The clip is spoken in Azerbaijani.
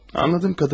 Anladım.